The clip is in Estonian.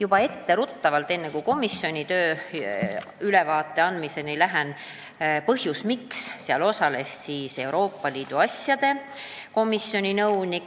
Ütlen etteruttavalt, enne kui komisjoni tööst ülevaate andmist alustan, põhjuse, miks istungil osales Euroopa Liidu asjade komisjoni nõunik.